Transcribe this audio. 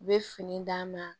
U bɛ fini d'a ma